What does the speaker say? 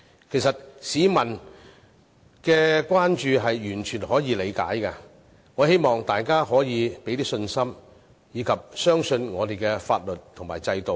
其實市民的關注是完全可以理解的，我希望大家可以給予信心，並相信我們的法律及制度。